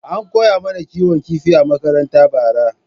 An koya mana kiwon kifi a makaranta bara.